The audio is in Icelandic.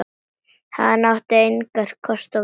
Hann átti engra kosta völ.